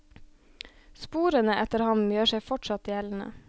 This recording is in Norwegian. Sporene etter ham gjør seg fortsatt gjeldende.